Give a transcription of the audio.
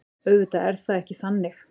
Auðvitað er það ekki þannig.